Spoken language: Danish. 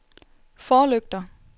forlygter